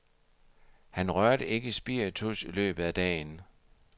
Han rørte ikke spiritus i løbet af dagen.